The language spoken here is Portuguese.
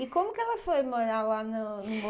E como que ela foi morar lá no no